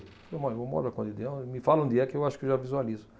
Eu moro, eu moro na Conde d'Eu, me fala onde é que eu acho que já visualizo.